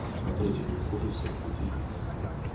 смотреть фильм ужасов две тысячи девятнадцатого года